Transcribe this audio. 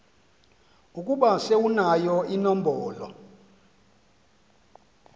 ukuba sewunayo inombolo